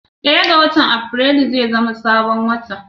Daya ga watan afirilu zai zama sabon wata